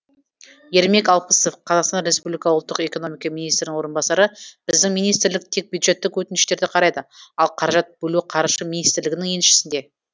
ермек алпысов қазақстан республика ұлттық экономика министрінің орынбасары біздің министрлік тек бюджеттік өтініштерді қарайды ал қаражат бөлу қаржы министрлігінің еншісінде